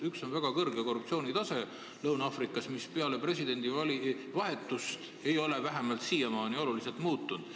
Üks on väga kõrge korruptsioonitase Lõuna-Aafrikas, mis peale presidendivahetust ei ole vähemalt siiamaani oluliselt muutunud.